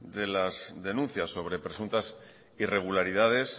de las denuncias sobre presuntas irregularidades